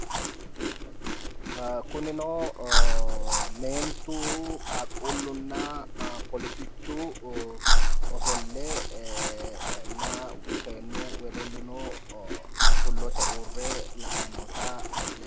Kunino meentu, qaaqquullunna polisichu ofollenna seennu wedellino xullote uurre la"ayi noota leellishshanno.